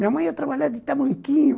Minha mãe ia trabalhar de tamanquinho.